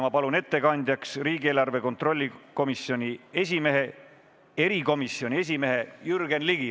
Ma palun ettekandjaks riigieelarve kontrolli erikomisjoni esimehe Jürgen Ligi.